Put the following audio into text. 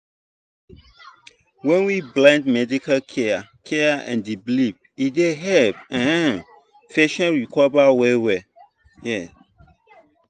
when we blend medical care care and belief e dey help um patient recover well well. um